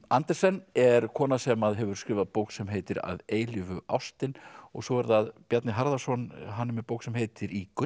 Andersen er kona sem hefur skrifað bók sem heitir að eilífu ástin og svo er það Bjarni Harðarson hann er með bók sem heitir í